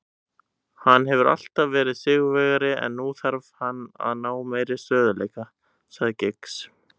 Hann hefur alltaf verið sigurvegari en nú þarf hann að ná meiri stöðugleika, sagði Giggs.